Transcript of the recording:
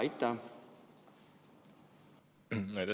Aitäh!